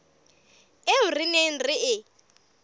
eo re neng re e